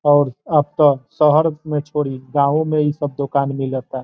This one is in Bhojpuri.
और अब त शहर में छोड़ी गांवों में इ सब दोकान मिलता।